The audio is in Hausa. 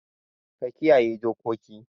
Ka kiyaye dokoki.